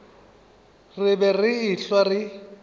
re be re ehlwa re